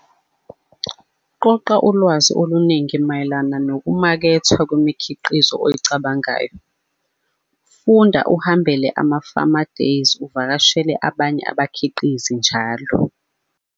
Qoqa ulwazi oluningi mayelana nokumakethwa kwemikhiqizo owucabangayo., Funda, uhambele ama-farmer days, uvakashele abanye abakhiqizi, njal.